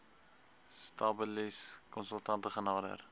stabilis konsultante genader